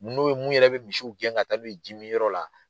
N'o ye mun yɛrɛ bɛ misiw gɛn ka taa n'o ye ji min yɔrɔ la.